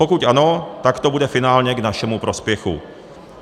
Pokud ano, tak to bude finálně k našemu prospěchu.